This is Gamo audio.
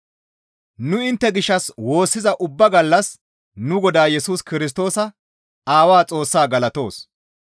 Nu intte gishshas woossiza ubba gallas nu Godaa Yesus Kirstoosa Aawaa Xoossaa galatoos.